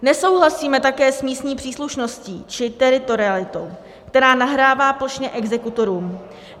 Nesouhlasíme také s místní příslušností či teritorialitou, která nahrává plošně exekutorům.